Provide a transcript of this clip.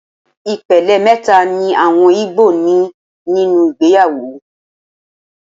Ìpele mẹ́ta ni àwọn igbo ní nínú ìgbéyàwó.